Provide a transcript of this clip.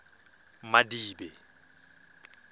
madibe